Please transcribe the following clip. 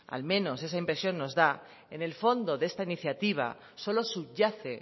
al menos esa impresión nos da en el fondo de esta iniciativa solo subyace